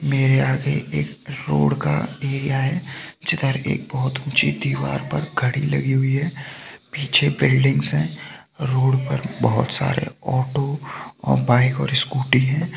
मेरे आगे एक रोड का एरिया है जिधर एक बहुत ऊँची दिवार पर घडी लगी हुई है पीछे बिल्डिंग्स है रोड पर बहुत सारे ऑटो और बाइक और स्कूटी है।